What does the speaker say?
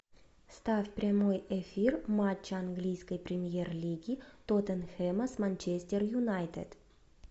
ставь прямой эфир матча английской премьер лиги тоттенхэма с манчестер юнайтед